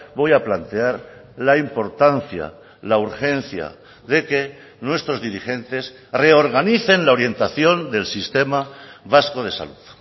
voy a plantear la importancia la urgencia de que nuestros dirigentes reorganicen la orientación del sistema vasco de salud